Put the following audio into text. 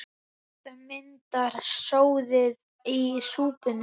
Þetta myndar soðið í súpuna.